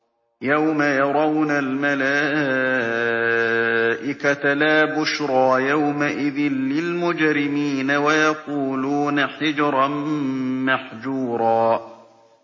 يَوْمَ يَرَوْنَ الْمَلَائِكَةَ لَا بُشْرَىٰ يَوْمَئِذٍ لِّلْمُجْرِمِينَ وَيَقُولُونَ حِجْرًا مَّحْجُورًا